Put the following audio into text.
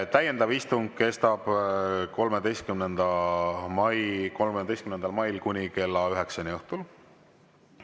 Täiendav istung kestab kuni 13. mail kella üheksani õhtul.